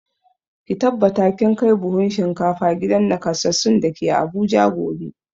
Ki tabbata kin kai buhun shinkafa gidan nakasassun da ke Abuja gobe!